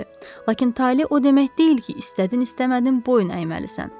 Lakin tale o demək deyil ki, istədin istəmədin boyun əyməlisən.